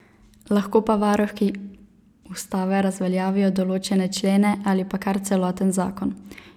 Lahko pa varuhi ustave razveljavijo določene člene ali pa kar celoten zakon.